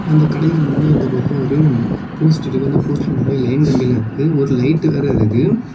அந்த கடைக்கு முன்னே இந்த பக்கம் ஒரு போஸ்ட் இருக்கு அந்த போஸ்ட்ல நிறைய லைன் கம்பி எல்லாம் இருக்கு ஒரு லைட் வேற இருக்கு